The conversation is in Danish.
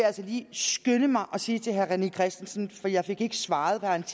altså lige skynde mig og sige til herre rené christensen for jeg fik ikke svaret da han